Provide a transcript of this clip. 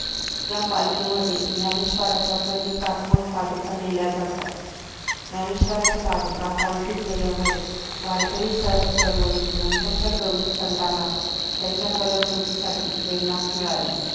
या पालखीमध्ये ज्ञानेश्वरांच्या प्रतीकात्मक पादुका नेल्या जातात ज्ञानेश्वरांच्या पादुका पालखीत नेल्यामुळे वारकरी चळवळीतील नंतरच्या कवी संतना त्यांच्या कलाकृतींसाठी प्रेरणा मिळाली